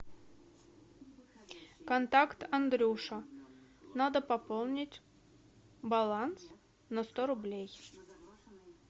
контакт андрюша надо пополнить баланс на сто рублей